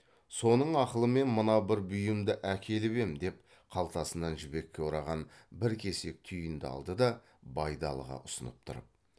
соның ақылымен мына бір бұйымды әкеліп ем деп қалтасынан жібекке ораған бір кесек түйін алды да байдалыға ұсынып тұрып